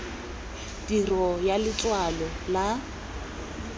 tirio ya letshwalo la r